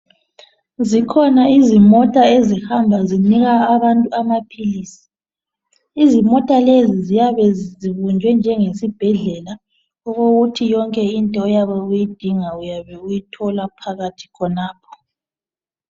zikhona izimota ezihamba zinika abantu amaphilisi imota lezi ziyabe zibunjwe njengesibhedlela okokuthi yonke into oyabe uyidinga uyabe uyithola phakathi khonapha